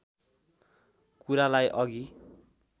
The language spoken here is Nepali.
कुरालाई अघि